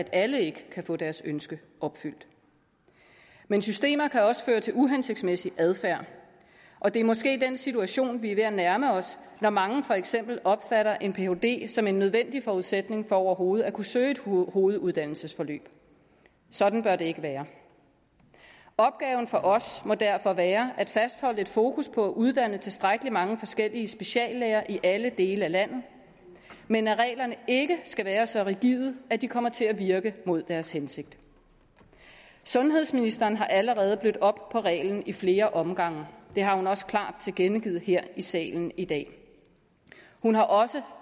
alle ikke få deres ønske opfyldt men systemer kan også føre til uhensigtsmæssig adfærd og det er måske den situation vi er ved at nærme os når mange for eksempel opfatter en phd som en nødvendig forudsætning for overhovedet at kunne søge et hoveduddannelsesforløb sådan bør det ikke være opgaven for os må derfor være at fastholde et fokus på at uddanne tilstrækkelig mange forskellige speciallæger i alle dele af landet men at reglerne ikke skal være så rigide at de kommer til at virke mod deres hensigt sundhedsministeren har allerede blødt op på reglen i flere omgange det har hun også klart tilkendegivet her i salen i dag hun har også